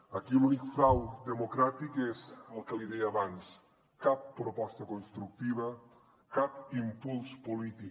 aquí l’únic frau democràtic és el que li deia abans cap proposta constructiva cap impuls polític